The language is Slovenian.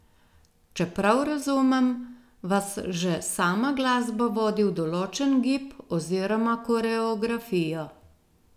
Če prav razumem, vas že sama glasba vodi v določen gib oziroma koreografijo...